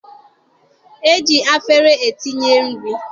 E ji afere etinye nri.